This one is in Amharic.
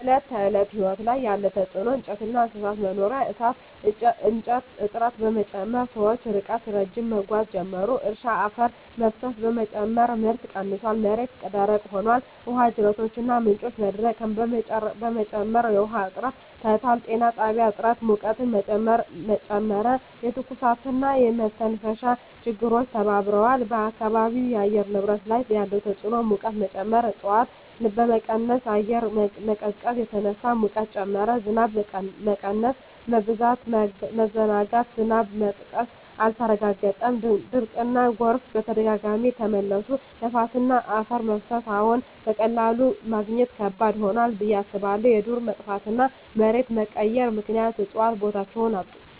በዕለት ተዕለት ሕይወት ላይ ያለ ተጽዕኖ እንጨትና እንስሳት መኖሪያ የእሳት እንጨት እጥረት በመጨመር ሰዎች ርቀት ረዥም መጓዝ ጀመሩ። እርሻ አፈር መፍሰስ በመጨመር ምርት ቀንሷል፣ መሬት ደረቅ ሆኗል። ውሃ ጅረቶችና ምንጮች መድረቅ በመጨመር የውሃ እጥረት ታይቷል። ጤና ጥላ እጥረት ሙቀትን ጨመረ፣ የትኩሳትና የመተንፈሻ ችግሮች ተባብረዋል። በአካባቢው የአየር ንብረት ላይ ያለ ተጽዕኖ ሙቀት መጨመር እፅዋት በመቀነስ አየር መቀዝቀዝ ተነሳ፣ ሙቀት ጨመረ። ዝናብ መቀነስ/መበዛት መዘናጋት ዝናብ መጥቀስ አልተረጋገጠም፣ ድርቅና ጎርፍ በተደጋጋሚ ተመለሱ። ነፋስና አፈር መፍሰስ አዎን፣ በቀላሉ ማግኘት ከባድ ሆኗል ብዬ አስባለሁ። የዱር መጥፋትና መሬት መቀየር ምክንያት እፅዋት ቦታቸውን አጡ።